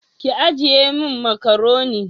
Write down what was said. Ki ajiye min macaroni